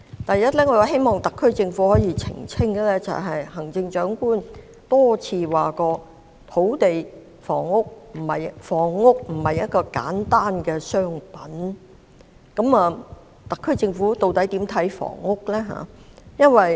第一，我希望特區政府可以澄清，行政長官多次表示房屋並不單是一件商品，究竟特區政府對房屋有何看法？